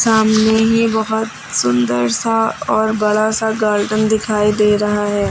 सामने ही बहुत सुंदर सा और बड़ा सा गार्डन दिखाई दे रहा है।